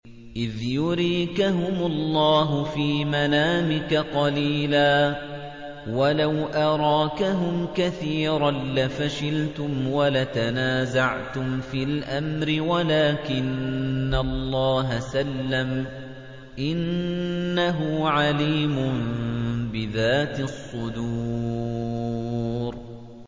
إِذْ يُرِيكَهُمُ اللَّهُ فِي مَنَامِكَ قَلِيلًا ۖ وَلَوْ أَرَاكَهُمْ كَثِيرًا لَّفَشِلْتُمْ وَلَتَنَازَعْتُمْ فِي الْأَمْرِ وَلَٰكِنَّ اللَّهَ سَلَّمَ ۗ إِنَّهُ عَلِيمٌ بِذَاتِ الصُّدُورِ